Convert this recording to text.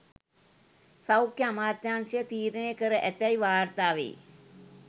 සෞඛ්‍ය අමාත්‍යාංශය තීරණය කර ඇතැයි වාර්තා වෙයි